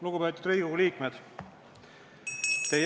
Lugupeetud Riigikogu liikmed!